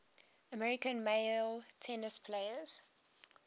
american male tennis players